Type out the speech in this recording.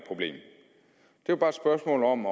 jo bare et spørgsmål om